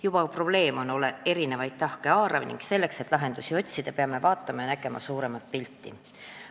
Juba probleem ise on eri tahke haarav ning selleks, et lahendusi otsida, peame vaatama suuremat pilti.